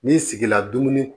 N'i sigila dumuni